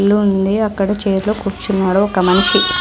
ఇల్లు ఉంది అక్కడ చైర్ లో కూర్చున్నాడు ఒక మనిషి.